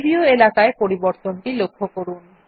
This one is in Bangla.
প্রিভিউ এলাকায় পরিবর্তনটি লক্ষ্য করুন